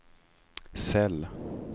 cell